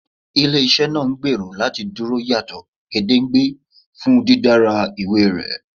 Ile-iṣẹ ngbero lati Duro yato gedengbe fun didara iwe rẹ